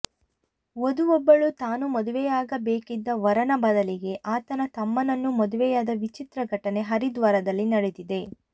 ವಧು ಒಬ್ಬಳು ತಾನು ಮದುವೆಯಾಗ ಬೇಕಿದ್ದ ವರನ ಬದಲಿಗೆ ಆತನ ತಮ್ಮನನ್ನು ಮದುವೆಯಾದ ವಿಚಿತ್ರ ಘಟನೆ ಹರಿದ್ವಾರದಲ್ಲಿ ನಡೆದಿದೆ